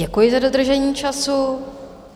Děkuji za dodržení času.